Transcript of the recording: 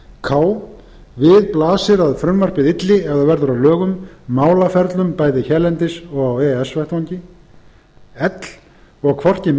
k við blasir að frumvarpið ylli ef það verður að lögum málaferlum bæði hérlendis og á e e s vettvangi l og hvorki menntamálaráðherra né